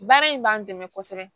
Baara in b'an dɛmɛ kosɛbɛ